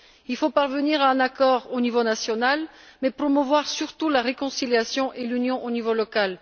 Il faut parvenir à un accord au niveau national et surtout promouvoir la réconciliation et l'union au niveau local.